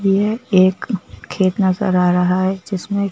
ये एक खेत नजर आ रहा है जिसमें--